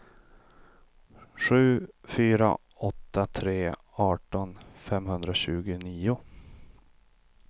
sju fyra åtta tre arton femhundratjugonio